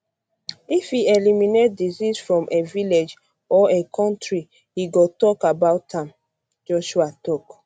if e eliminate disease from a village or a kontri e go tok um about am um joshua tok